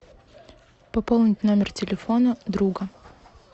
пополнить номер телефона друга